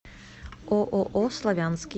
ооо славянский